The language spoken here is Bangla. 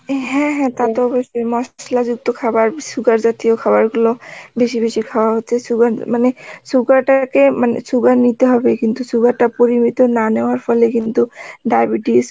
এন হ্যাঁ হ্যাঁ, টা তো অবস্যই মশলা যুক্ত খাবার, sugar জাতীয় খাবার গুলো বেশি বেশি খাওয়া হচ্ছে sugar মানে sugar টাকে মানে sugar নিতে হবে কিন্তু sugar টা না নেওয়ার ফলে কিন্তু diabetes